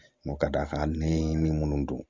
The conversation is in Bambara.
ka d'a kan n'i ni minnu don